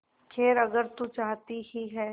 खैर अगर तू चाहती ही है